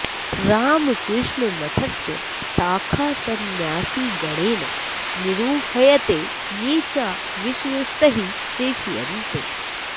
रामकृष्णमठस्य शाखा संन्यासिगणेन निरूह्यते ये च विश्वस्तैः प्रेष्यन्ते